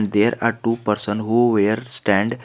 There are two person who were stand --